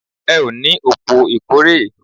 Ẹ o ní òpò ìkórè